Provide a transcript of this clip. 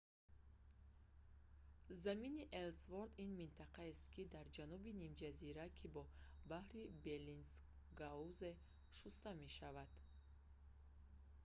замини эллсворт ­ ин минтақаест дар ҷануби нимҷазира ки бо баҳри беллинсгаузен шуста мешавад